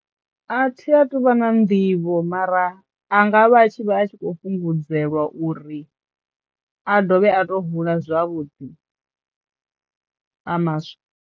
A thi a tu vha na nḓivho mara a nga vha tshi vha a tshi kho fhungudzelwa uri a dovhe a to hula zwavhuḓi a maswa.